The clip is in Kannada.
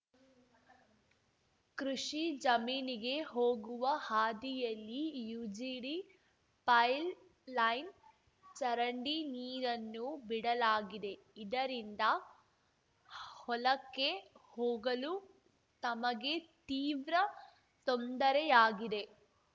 ಕೃಷಿ ಜಮೀನಿಗೆ ಹೋಗುವ ಹಾದಿಯಲ್ಲಿ ಯುಜಿಡಿ ಪೈಲ್ ಲೈನ್‌ ಚರಂಡಿ ನೀರನ್ನು ಬಿಡಲಾಗಿದೆ ಇದರಿಂದ ಹೊಲಕ್ಕೆ ಹೋಗಲು ತಮಗೆ ತೀವ್ರ ತೊಂದರೆಯಾಗಿದೆ